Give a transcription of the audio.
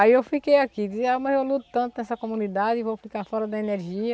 Aí eu fiquei aqui, mas eu luto tanto nessa comunidade e vou ficar fora da energia.